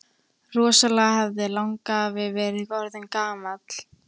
Rosalega hefði langafi verið orðinn gamall!